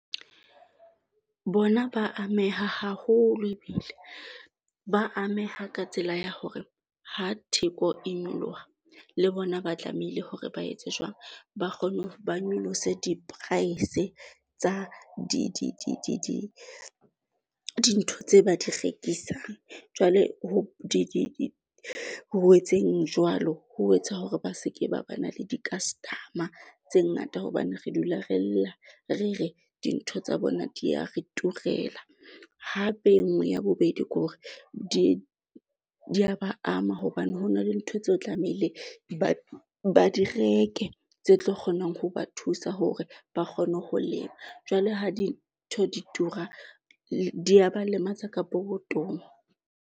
Bona ba ameha haholo ebile ba ameha ka tsela ya hore ha theko e nyoloha, le bona ba tlamehile hore ba etse jwang, ba kgone ba nyolose di-price tsa dintho tse ba di rekisang. Jwale ho di bowetseng jwalo ho etsa hore ba se ke ba ba na le di-customer tse ngata hobane re dula re lla, re re dintho tsa bona di ya re turela. Hape e nngwe ya bobedi ke hore di di ya ba ama hobane ho na le ntho tseo tlameile batho ba di reke tse tlo kgonang ho ba thusa hore ba kgone ho lema. Jwale ha dintho di tura di ya ba lematsa ka pokothong.